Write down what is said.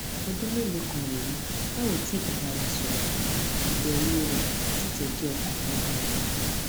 ọdún mélòó kan rèé tá ò ti bára wa sòrò ìbèwò rè sì jé kí ọkàn mi balè